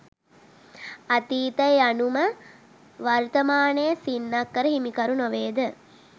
අතීතය යනු ම වර්තමානයේ සින්නක්කර හිමිකරු නොවේ ද?